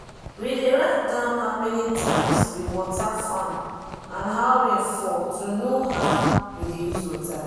we dey write down how many times we water farm and how rain fall to know how we dey use water.